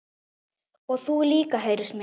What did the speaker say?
Og þú líka heyrist mér